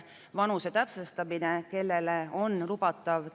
Vabariigi Valitsus tegi 17 peamiselt õigusselguse huvides esitatud muudatusettepanekut.